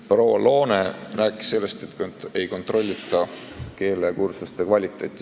Proua Loone rääkis sellest, et keelekursuste kvaliteeti ei kontrollita.